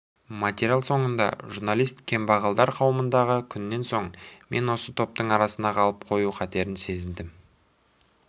материал соңында журналист кембағалдар қауымындағы күннен соң мен осы топтың арасында қалып қою қатерін сезіндім